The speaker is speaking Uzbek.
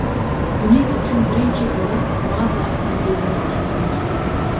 Buning uchun birinchi bo‘lib Labo avtomobilini tanladik.